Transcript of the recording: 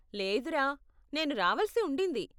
లేదురా, నేను రావలిసి ఉండింది.